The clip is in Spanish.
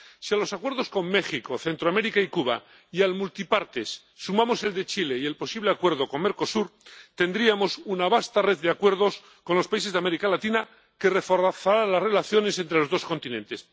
Si a los acuerdos con México, Centroamérica y Cuba y al Acuerdo Multipartes sumamos el de Chile y el posible acuerdo con Mercosur, tendríamos una vasta red de acuerdos con los países de América Latina que reforzarán las relaciones entre los dos continentes.